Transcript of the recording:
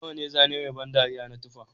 Nawa ne zane mai ban dariya na tufa